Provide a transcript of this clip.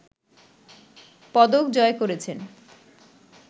পদক জয় করেছেন